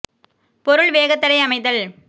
பொருள் வேகத்தடை அமைதல்